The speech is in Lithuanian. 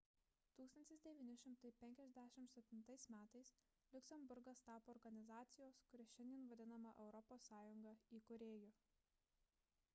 1957 m liuksemburgas tapo organizacijos kuri šiandien vadinama europos sąjunga įkūrėju